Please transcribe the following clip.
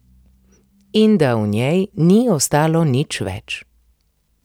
In da v njej ni ostalo nič več.